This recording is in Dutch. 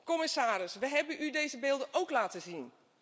Commissaris, we hebben u deze beelden ook laten zien.